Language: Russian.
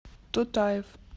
тутаев